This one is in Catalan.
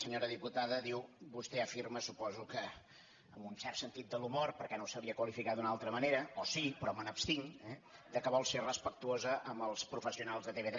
senyora diputada diu vostè afirma suposo que amb un cert sentit de l’humor perquè no ho sabria qualificar d’una altra manera o sí però me n’abstinc eh que vol ser respectuosa amb els professionals de tv3